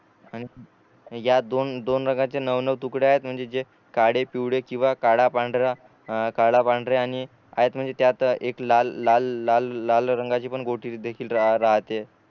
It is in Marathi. आणि या दोन दोन रंगाचे नऊ नऊ तुकडे आहेत म्हणजे जे काळे पिवळे किंवा काळा पांढरा अ काळा पांढरा आणि यात म्हणजे त्यात एक लाल लाल रंगाची पण गोटी देखील राहते